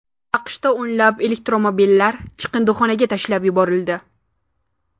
AQShda o‘nlab elektromobillar chiqindixonaga tashlab yuborildi.